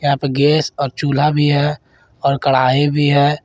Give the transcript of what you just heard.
यहा पे गैस और चूल्हा भी है और कढ़ाई भी है।